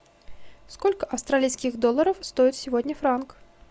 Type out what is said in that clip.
сколько австралийских долларов стоит сегодня франк